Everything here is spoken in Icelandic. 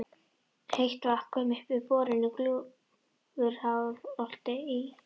Heitt vatn kom upp við borun í Gljúfurárholti í